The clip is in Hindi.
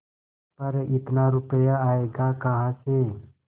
पर इतना रुपया आयेगा कहाँ से